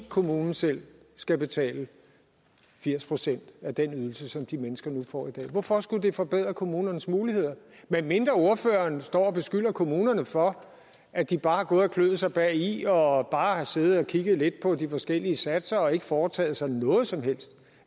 kommunen selv skal betale firs procent af den ydelse som de mennesker nu får i dag hvorfor skulle det forbedre kommunernes muligheder medmindre ordføreren står og beskylder kommunerne for at de bare har gået og kløet sig bagi og bare har siddet og kigget lidt på de forskellige satser og ikke foretaget sig noget som helst